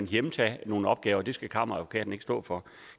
hjemtage nogle opgaver det skal kammeradvokaten ikke stå for